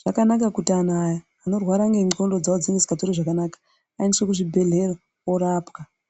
Zvakanaka kuti antu aya anorwara nendxondo dzavo dzinosingazwi zvakanaka aendeswe kuzvibhedhlera orapwa.